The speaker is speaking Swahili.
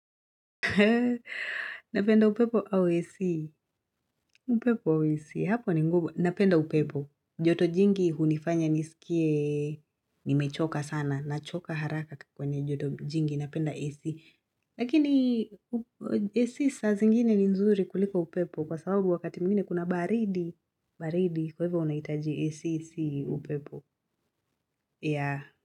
Napenda upepo au AC? Upepo au AC? Hapo ni ngumu Napenda upepo. Joto jingi hunifanya nisikie nimechoka sana. Nachoka haraka kwenye joto jingi. Napenda AC. Lakini AC saa zingine ni nzuri kuliko upepo kwa sababu wakati mwingine kuna baridi. Baridi kwa hivyo unahitaji AC si upepo. Yeah.